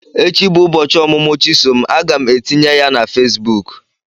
Echi bụ ụbọchị ọmụmụ chisom, aga m etinye ya na Facebook.